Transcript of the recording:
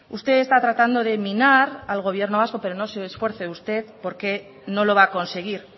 usted está tratando de minar al gobierno vasco pero no se esfuerce usted porque no lo va a conseguir